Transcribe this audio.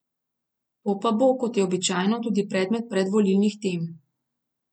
To pa bo, kot je običajno, tudi predmet predvolilnih tem.